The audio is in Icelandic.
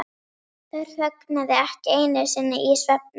Þær þögnuðu ekki einu sinni í svefni.